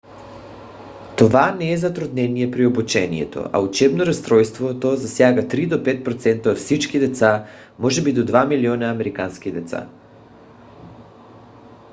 това не е затруднение при обучението а учебно разстройство; то засяга 3 до 5 процента от всички деца може би до 2 милиона американски деца